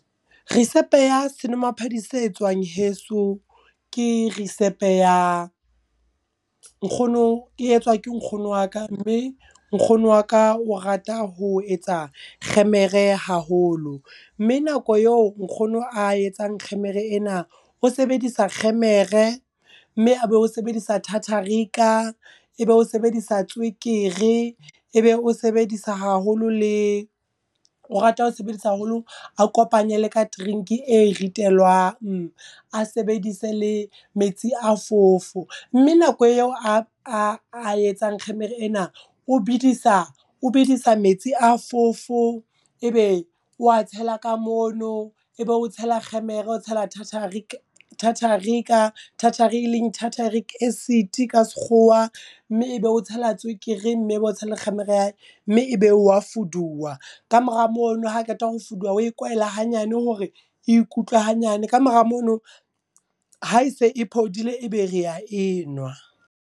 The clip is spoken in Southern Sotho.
Risepe ya senwamaphodi se etswang heso ke risepe ya nkgono e etswa ke nkgono wa ka, mme nkgono wa ka o rata ho etsa kgemere haholo. Mme nako eo nkgono a etsang kgemere ena, o sebedisa kgemere mme a be o sebedisa tartaric-a e be o sebedisa tswekere e be o sebedisa haholo le o rata ho sebedisa haholo a kopanye le ka drink e ritelwang. A sebedise le metsi a fofo, mme nako eo a etsang kgemere ena o bedisa o bedisa metsi a fofo, e be o wa tsela ka mono e be o tshela kgemere o tshela tartaric tartaric-a e leng tarataric acid ka sekgowa. Mme e be o tshela tswekere mme bo tshela kgemere ya hae mme e be wa fuduwa. Kamora mono ha qeta ho fuduwa oe kwaela hanyane hore ikutlwa hanyane kamora mono ha e se e phodile, e be rea e nwa.